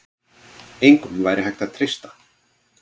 Engum væri hægt að treysta.